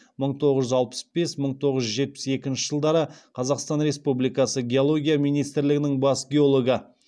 мың тоғыз жүз алпыс бес мың тоғыз жүз жетпіс екінші жылдары қазақстан республикасы геология министрлігінің бас геологы